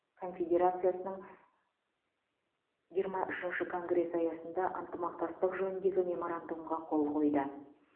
конфедерациясының жиырма үшінші конгресі аясында ынтымақтастық жөніндегі меморандумға қол қойды